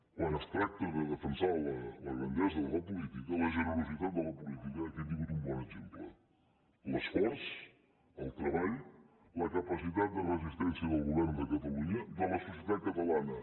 quan es tracta de defensar la grandesa de la política la generositat de la política aquí hem tingut un bon exemple l’esforç el treball la capacitat de resistència del govern de catalunya de la societat catalana